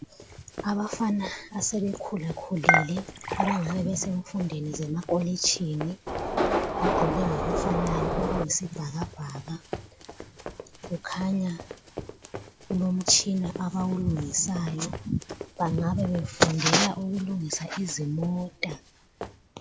Abafana asebekhulakhulile abangabe besemfundweni zemakolitshini bagqoke ngokufanayo okuyisibhakabhaka kukhanya kulomtshina abawulungisayo. Bangabe befundela ukulungisa izimota.